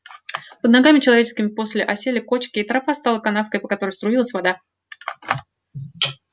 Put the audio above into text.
под ногами человеческими после осели кочки и тропа стала канавкой по которой струилась вода